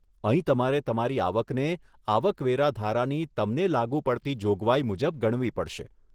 અહીં તમારે તમારી આવકને આવક વેરા ધારાની તમને લાગુ પડતી જોગવાઈ મુજબ ગણવી પડશે.